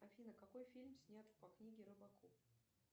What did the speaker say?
афина какой фильм снят по книге робокоп